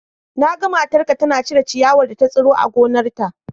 Na ga matarka tana cire ciyawar da ta tsiro a gonarta.